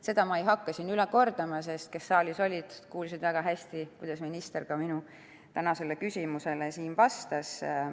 Seda ma ei hakka siin üle kordama, sest need, kes saalis olid, kuulsid väga hästi, kuidas minister minu tänasele küsimusele vastas.